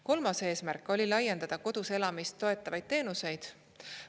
Kolmas eesmärk oli laiendada kodus elamist toetavaid teenuseid.